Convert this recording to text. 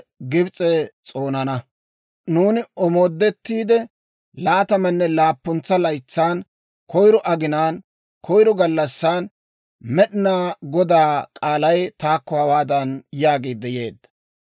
Nuuni omooddetteedda laatamanne laappuntsa laytsan, koyiro aginaan, koyiro gallassan, Med'inaa Godaa k'aalay taakko hawaadan yaagiidde yeedda;